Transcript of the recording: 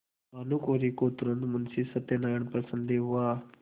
भानुकुँवरि को तुरन्त मुंशी सत्यनारायण पर संदेह हुआ